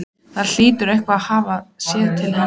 Það hlýtur einhver að hafa séð til hennar.